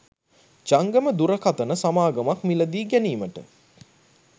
ජංගම දුරකථන සමාගමක් මිලදී ගැනීමට